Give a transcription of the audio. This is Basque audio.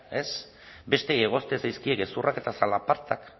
ez besteei egozten zaizkie gezurrak eta zalapartak